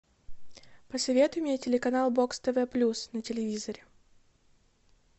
посоветуй мне телеканал бокс тв плюс на телевизоре